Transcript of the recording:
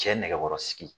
Cɛ nɛgɛkɔrɔsigi